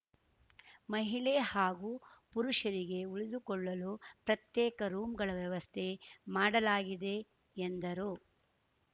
ಮಹಿಳೆ ಹಾಗೂ ಪುರುಷರಿಗೆ ಉಳಿದುಕೊಳ್ಳಲು ಪ್ರತ್ಯೇಕ ರೂಂಗಳ ವ್ಯವಸ್ಥೆ ಮಾಡಲಾಗಿದೆ ಎಂದರು